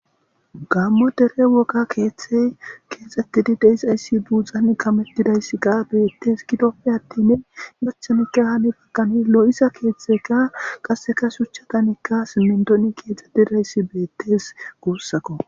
gammo dere woga keeththey keexxettidi deisayssi buudzan kamettidayssi ga bettes gidoppe attin machanikka hani bagkani lo7isa keeththeka qaseka shuchatanikka simmintoni keexxet idayssi beettes guussakko